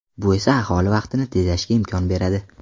Bu esa aholi vaqtini tejashga imkon beradi.